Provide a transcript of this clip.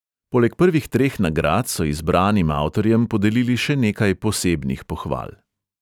Poleg prvih treh nagrad so izbranim avtorjem podelili še nekaj posebnih pohval.